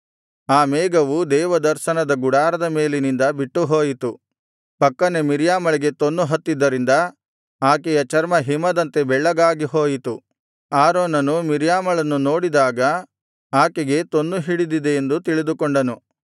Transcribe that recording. ಆ ಮೇಘವು ದೇವದರ್ಶನದ ಗುಡಾರದ ಮೇಲಿನಿಂದ ಬಿಟ್ಟುಹೋಯಿತು ಪಕ್ಕನೆ ಮಿರ್ಯಾಮಳಿಗೆ ತೊನ್ನು ಹತ್ತಿದ್ದರಿಂದ ಆಕೆಯ ಚರ್ಮ ಹಿಮದಂತೆ ಬೆಳ್ಳಗಾಗಿ ಹೋಯಿತು ಆರೋನನು ಮಿರ್ಯಾಮಳನ್ನು ನೋಡಿದಾಗ ಆಕೆಗೆ ತೊನ್ನು ಹಿಡಿದಿದೆ ಎಂದು ತಿಳಿದುಕೊಂಡನು